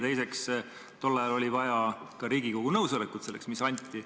Teiseks, tollal oli vaja selleks ka Riigikogu nõusolekut, mis anti.